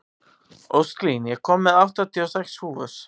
Ósklín, ég kom með áttatíu og sex húfur!